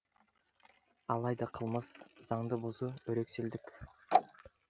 алайда қылмыс заңды бұзу өрекселдік